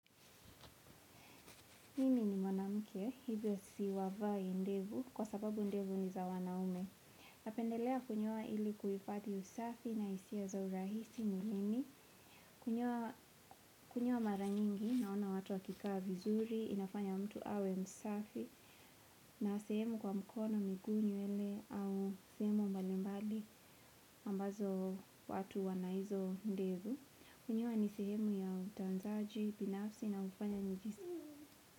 Mi ni mnamuke, hivyo si wavai ndevu, kwa sababu ndevu ni za wanaume. Napendelea kunyoa ili kuhifadhi usafi na hisia za urahisi mwilini, kunyoa mara nyingi, naona watu wakikaa vizuri, inafanya mtu awe msafi, na sehemu kwa mkono miguu nywele au sehemu mbalimbali ambazo watu wanaizo ndevu. Kunyoa ni sehemu ya utanzaji, binafsi na hunifanya njihisi.